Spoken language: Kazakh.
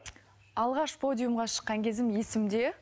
алғаш подиумға шыққан кезім есімде